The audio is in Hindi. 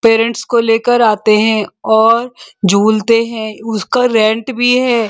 पेरेंट्स को लेकर आते हैं और झूलते हैं। उसका रेंट भी है।